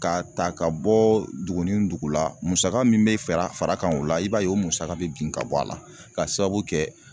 K'a ta ka bɔ dugu ni dugu la musaka min be fera far'a kan o la i b'a ye o musaka be bin ka bɔ a la k'a sababu kɛ